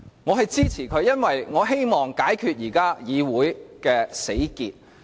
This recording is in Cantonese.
我支持他，是因為我希望解開現時議會的死結。